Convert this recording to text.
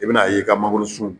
I bɛna a ye i ka mangoro sun